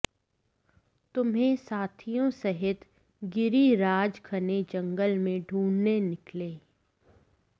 तुम्हें साथियों सहित गिरिराज घने जंगल में ढूंढने निकले